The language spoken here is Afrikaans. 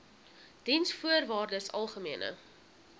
diensvoorwaardesalgemene